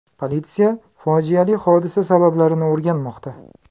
Politsiya fojiali hodisa sabablarini o‘rganmoqda.